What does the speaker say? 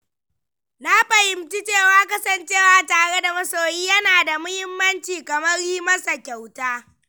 Na fahimci cewa kasancewa tare da masoyi yana da muhimmanci kamar yi masa kyauta.